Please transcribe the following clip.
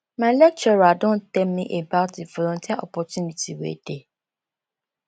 my lecturer don tell me about di volunteer opportunity wey dey